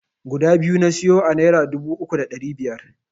Guda biyu na siyo a naira dubu uku da ɗari biyar.